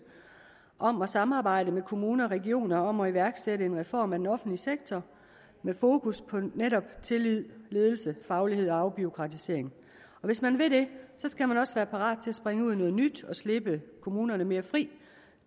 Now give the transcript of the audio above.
om at samarbejde med kommuner og regioner om at iværksætte en reform af den offentlige sektor med fokus på netop tillid ledelse faglighed og afbureaukratisering og hvis man vil det skal man også være parat til at springe ud i noget nyt og slippe kommunerne mere fri